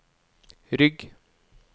rygg